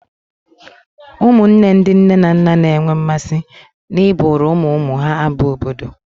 Ụmụnne ndị nne na nna na-enwe mmasị n'ịbụụrụ ụmụ ụmụ ha abụ obodo